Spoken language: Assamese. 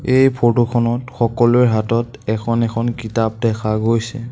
এই ফটো খনত সকলোৰে হাতত এখন এখন কিতাপ দেখা গৈছে।